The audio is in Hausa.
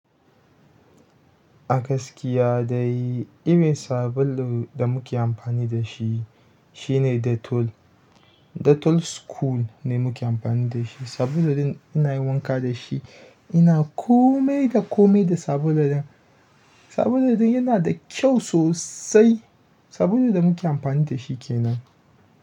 A gaskiya dai, irin sabulun da muke amfani da shi shine, Dettol. Dettol's cool ne muke amfani da shi. Sabulun ina yi wanka da shi, ina kome da kome da sabulun nan. Sabulun yana da kyau sosai. Sabulun da muke amfani da shi ke nan.